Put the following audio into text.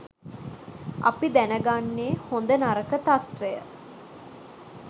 අපි දැන ගන්නේ හොඳ නරක තත්වය.